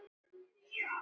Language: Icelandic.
Var bréfið ekki lengra?